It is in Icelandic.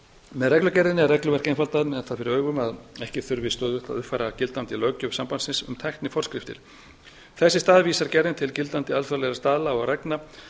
með reglugerðinni er regluverk einfaldað með það fyrir augum að ekki þurfi stöðugt að uppfæra gildandi löggjöf sambandsins um tækniforskriftir þess í stað vísar gerði til gildandi alþjóðlegra staðla og reglna